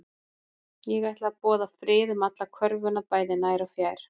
Ég ætla að boða frið um alla körfuna bæði nær og fjær